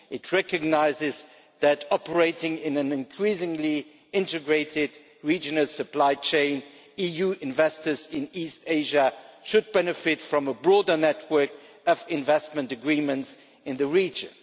The communication recognises that, operating in an increasingly integrated regional supply chain, EU investors in East Asia should benefit from a broader network of investment agreements in the region.